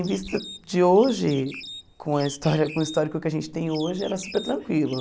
Em vista de hoje, com a história com o histórico que a gente tem hoje, era super tranquilo.